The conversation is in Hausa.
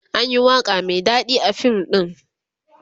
anyi waƙa Mai daɗi a fim ɗin